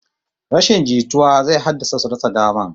Rashin jituwa zai haddasa su rasa daman